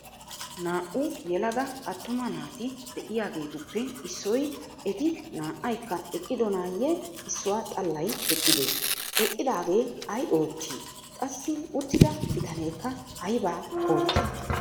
Naa"u yelaga attuma naati de'iyageetuppe issoy eti naa"aykka eqqidonaayye issuwa xallay eqqidee? Eqqidaagee ay oottii? Qassi uttida bitaneekka aybaa oottii?